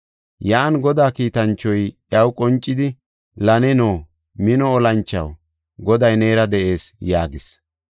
Yan Godaa kiitanchoy iyaw qoncidi, “La neno, mino olanchaw, Goday neera de7ees” yaagis.